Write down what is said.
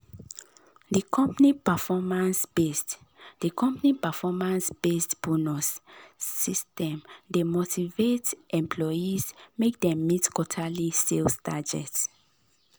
d company performance-based d company performance-based bonus system dey motivate employees make dem meet quarterly sales targets